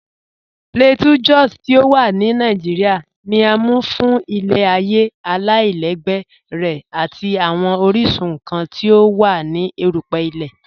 P̀lateau Jòs ti o wà ní Nàìjíríà, ní à mú fún ilẹ̀-ayé aláìlẹ̀gbẹ̀ rẹ̀ àti awọn oríṣun nkàn ti o wà ní èrùpẹ̀ ilẹ̀.